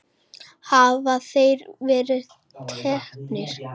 Hafa þeir verið teknir?